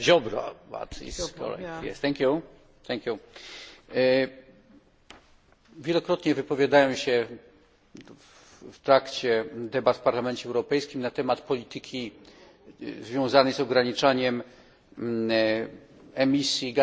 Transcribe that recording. Wielokrotnie wypowiadałem się w trakcie debat w Parlamencie Europejskim na temat polityki związanej z ograniczaniem emisji gazów cieplarnianych, którą bardzo mocno wspiera Parlament Europejski i Komisja Europejska.